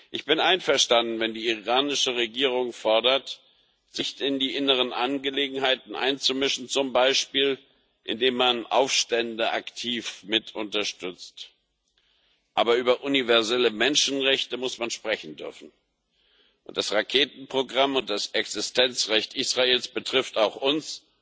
Ich bin einverstanden, wenn die iranische Regierung fordert, sich nicht in die inneren Angelegenheiten einzumischen zum Beispiel, indem man Aufstände aktiv mitunterstützt. Aber über universelle Menschenrechte muss man sprechen dürfen, und das Raketenprogramm und das Existenzrecht Israels betreffen auch uns